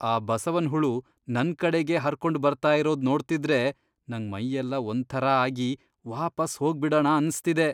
ಆ ಬಸವನ್ ಹುಳು ನನ್ ಕಡೆಗೇ ಹರ್ಕೊಂಡ್ ಬರ್ತಾ ಇರೋದ್ ನೋಡ್ತಿದ್ರೆ ನಂಗ್ ಮೈಯೆಲ್ಲ ಒಂಥರಾ ಆಗಿ ವಾಪಸ್ ಹೋಗ್ಬಿಡಣ ಅನ್ಸ್ತಿದೆ.